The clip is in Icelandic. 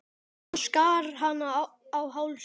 Hann skar hana á háls.